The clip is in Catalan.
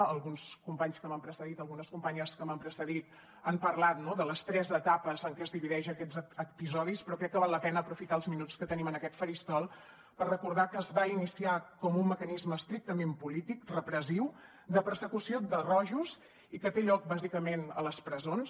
alguns companys que m’han precedit algunes companyes que m’han precedit han parlat no de les tres etapes en què es divideixen aquests episodis però crec que val la pena aprofitar els minuts que tenim en aquest faristol per recordar que es va iniciar com un mecanisme estrictament polític repressiu de persecució de rojos i que té lloc bàsicament a les presons